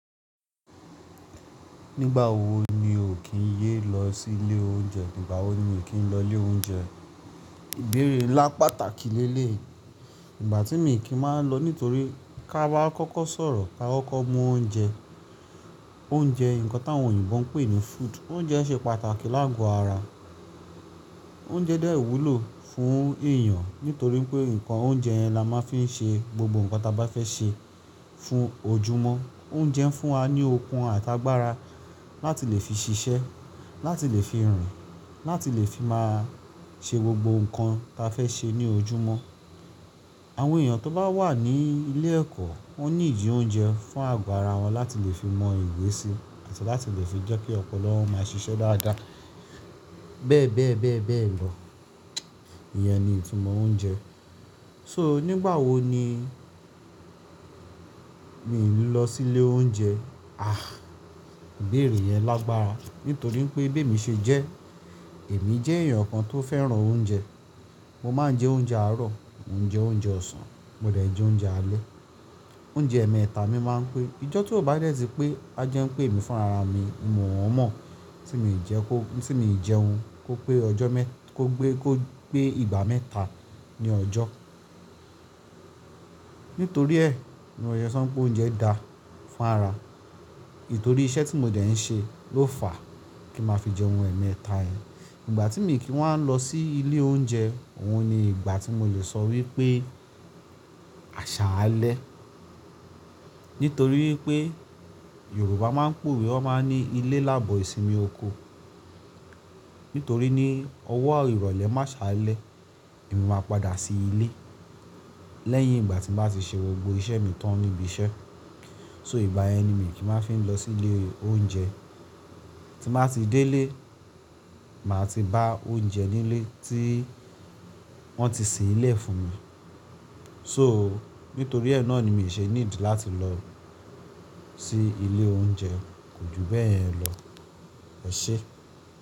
Nígbà wo ni o kì í ye lọ sí ilé oúnjẹ? Ígbà wo ni mí kì í lọ ilé oúnjẹ? Ìbéèrè ńlá pàtàkì lé léyìí. Ìgbà tí mi kì í máa ń lọ nítorí ká bá kọ́kọ́ sọ̀rọ̀ ká kọ́kọ́ mú oúnjẹ. Oúnjẹ, ǹkan tí àwọn òyìnbó ń pè ní food. Oúnjẹ ṣe pàtàkì láàgò ara. Oúnjẹ dè ìwúlò fún èyàn nítorí pé ǹkan oúnjẹ yẹn la máa ń fi ṣe gbogbo ǹkan ta bá fẹ́ ṣe fún ojúmọ́. Oúnjẹ ń fún wa ní okun àtàgbàra láti lè fi ṣiṣẹ́, láti lè fi rìn, láti lè fi máa ṣe gbogbo ǹkan ta fẹ́ ṣe ní ojúmọ́. Àwọn èyàn tó bá wà ní ilé ẹ̀kọ́, wọ́n need oúnjẹ fún àgbàra wọn láti lè fi mọ ìwé sí àti láti lè fi jẹ́ kí ọpọlọ wọn máa ṣiṣẹ́ dáadáa. Bẹ́ẹ̀ bẹ́ẹ̀ bẹ́ẹ̀ bẹ́ẹ̀ lọ. Iyẹn ni ìtumọ̀ oúnjẹ. So nígbà wo ni mi ń lọ sí ilé oúnjẹ? Ah! Ìbéèrè yẹn lágbára nítorí pé bí èmi ṣe jẹ́, èmi jẹ́ èyàn kan tó fẹ́ràn oúnjẹ. Mo máa ń jẹ oúnjẹ àárọ̀, mo ń jẹ oúnjẹ ọ̀sán, mo dẹ̀ jẹ oúnjẹ alẹ́. Oúnjẹ ẹmẹta mi máa ń pè. Ìjọ́ tí ó bá dẹ́ sí pé a jẹun pé mi fún rara mi, mo mọ̀ ọ́n mọ́ tí mo ì jẹun kó pé ìgbà mẹ́ta ní ọjọ́. Nítorí ẹ, mo yẹ sọ́ npé oúnjẹ da fún ara. Nítorí iṣẹ́ tí mo dẹ̀ ń ṣe ló fà kí n máa fi jẹun ẹmẹta yẹn. Ìgbà tí mi kì í máa ń lọ sí ilé oúnjẹ, òun ni ìgbà tí mo lè sọ wípé àṣà alẹ́. Nítorí wípé Yorùbá máa ń pè wípé wọ́n máa ń ní ilé lábò ìsinmi oko. Nítorí ní ọwọ́ ìrọ̀lẹ́ m'àṣálẹ̀, èmi máa padà sí ilé. Lẹ́yìn ìgbà tí màá ṣe gbogbo iṣẹ́ mi tán níbi iṣẹ́. So ìgbà yẹn ni mi kì í máa ń fi lọ sí ilé oúnjẹ. Tí màá ti dé ilé, màá ti bá oúnjẹ nílé tí wọ́n ti se'lẹ̀ fún mi. So nítorí ẹ náà ni mi ò ṣe need láti lọ sí ilé oúnjẹ, kò ju bẹ́ẹ̀ yen lọ. Ẹ ṣé.